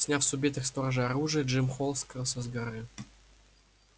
сняв с убитых сторожей оружие джим холл скрылся с горы